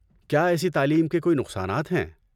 کیا ایسی تعلیم کے کوئی نقصانات ہیں؟